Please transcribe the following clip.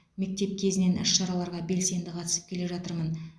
мектеп кезінен іс шараларға белсенді қатысып келе жатырмын